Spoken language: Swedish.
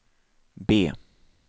B